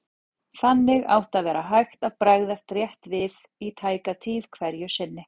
Þannig átti að vera hægt að bregðast rétt við í tæka tíð hverju sinni.